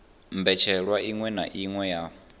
mbetshelwa iṅwe na iṅwe ya